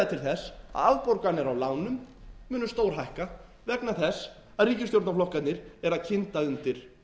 að afborganir á lánum munu stórhækka vegna þess að ríkisstjórnarflokkarnir eru að kynda undir